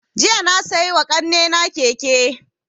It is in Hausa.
Jiya na siya wa ƙanina keke